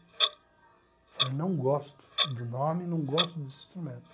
Eu falei, não gosto do nome, não gosto desse instrumento.